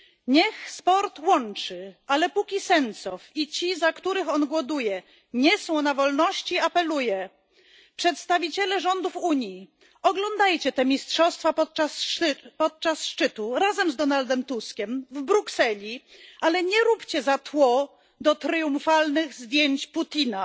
Niech sport łączy, ale póki Sencow i ci, za których on głoduje, nie są na wolności, apeluję przedstawiciele rządów Unii, oglądajcie te mistrzostwa podczas szczytu razem z Donaldem Tuskiem w Brukseli, ale nie róbcie za tło do triumfalnych zdjęć Putina!